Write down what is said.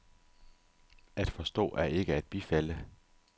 At forstå er ikke at bifalde.